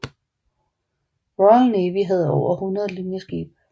Royal Navy havde over 100 linjeskibe